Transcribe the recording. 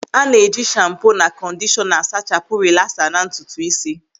A na-eji shampo na kọndishọna a sachapụ rilasa na ntutu ísí.